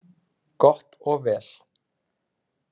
Gott og vel